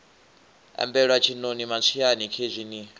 ambela tshiṋoni matswiani khezwi ni